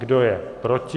Kdo je proti?